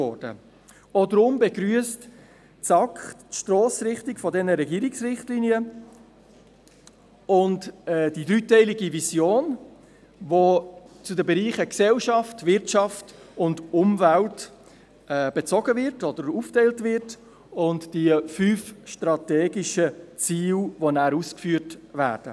Auch deshalb begrüsst die SAK die Stossrichtung dieser Regierungsrichtlinien und die dreiteilige Vision, die in die Bereiche Gesellschaft, Wirtschaft und Umwelt aufgeteilt wird, sowie die fünf strategischen Ziele, die danach ausgeführt werden.